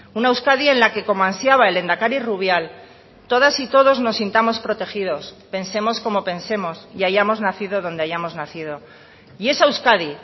una euskadi en la que como ansiaba el lehendakari rubial todas y todos nos sintamos protegidos pensemos como pensemos y hayamos nacido donde hayamos nacido y esa euskadi